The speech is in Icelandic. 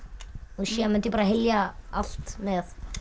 síðan mundi ég hylja allt með